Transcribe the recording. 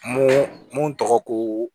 Mun mun tɔgɔ ko